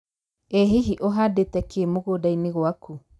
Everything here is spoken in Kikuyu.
ĩ hihi ũhandĩte kĩ mũgũnda-inĩ gwakũ